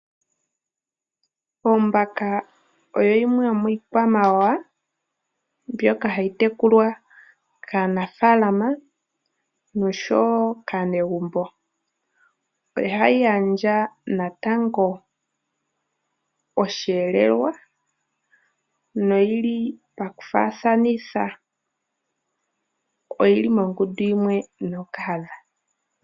Ombaka oyo yimwe yomiikwamawawa mbyoka hayi tekulwa kanafaalama oshowo kaanegumbo. Ohayi gandja natango osheelelwa. Oyili mongundu yimwe nookahadha.